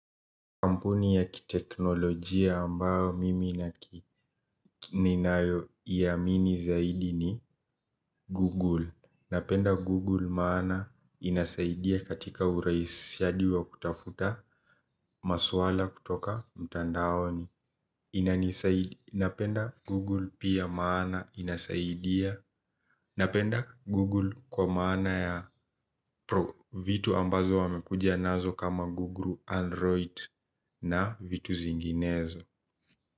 Kampuni ya kiteknolojia ambayo mimi naki ninayoiamini zaidi ni Google. Napenda Google maana inasaidia katika urahisishaji wa kutafuta maswala kutoka mtandaoni. Napenda Google pia maana inasaidia. Napenda Google kwa maana ya pro vitu ambazo wamekuja nazo kama Google Android na vitu zinginezo.